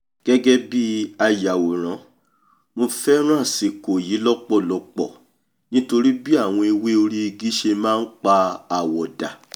gẹ́gẹ́ bí ayàwòrán mo fẹ́ràn àsìkò yìí lọ́pọ̀lọpọ̀ nítorí bí àwọn ewé orí igi ṣe máa npa àwọ̀ dà